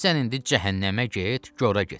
Sən indi cəhənnəmə get, cora get.